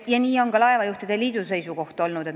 Ja selline on ka laevajuhtide liidu seisukoht olnud.